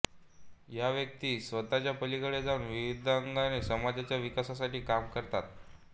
ह्या व्यक्ती स्वतः पलीकडे जाऊन विविध अंगाने समाजाच्या विकासासाठी काम करतात